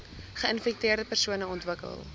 geinfekteerde persone ontwikkel